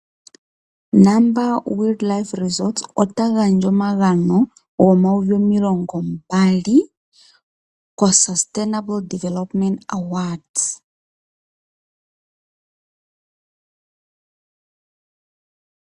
Namibia Wildlife Resorts ota gandja omagano go N$ 20 000 koSustainable Development Awards.